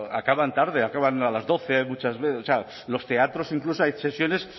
acaban tarde acaban a las doce muchas veces o sea los teatros incluso hay sesiones